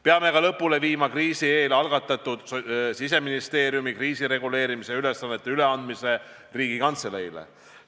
Peame ka lõpule viima kriisi eel algatatud Siseministeeriumi kriisireguleerimise ülesannete üleandmise Riigikantseleile.